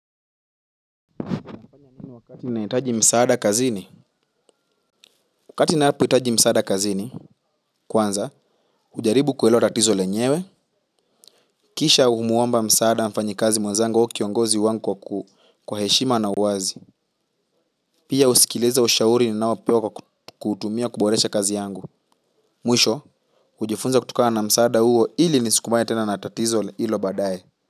Wakati nahitaji msaada kazini wakati ninapo hitaji msaada kazini kwanza hujaribu kuelewa tatizo lenyewe kisha humuomba msaada mfanyikazi mwenzangu au kiongozi wangu kwa heshima na uwazi pia husikiliza ushauri ninaopewa kwa kutumia kuboresha kazi yangu mwisho hujifunza kutokana na msaada huo ili nisikumbane tena na tatizo hilo baadaye.